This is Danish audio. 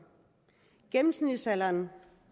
gennemsnitsalderen